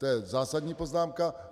To je zásadní poznámka.